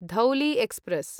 Dhauli express